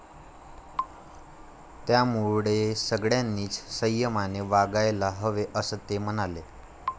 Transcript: त्यामुळे सगळ्यांनीच संयमाने वागायला हवे, असं ते म्हणाले.